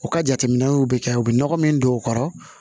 U ka jateminɛw bɛ kɛ u bɛ nɔgɔ min don u kɔrɔ